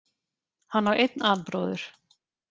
Hann á einn albróður